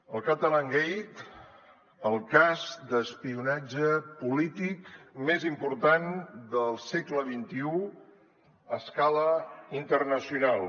el catalangate el cas d’espionatge polític més important del segle xxi a escala internacional